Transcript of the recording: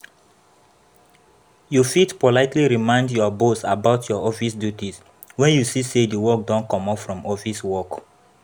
You fit politely remind your boss about your office duties when you see sey di work don comot from office work